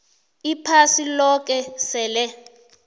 iphasi loke sele